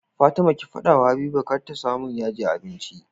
Fatima ki fada wa habiba kar ta samun yaji a abinci